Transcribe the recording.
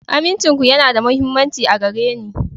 Amincinku yana da mahimmanci a gare ni.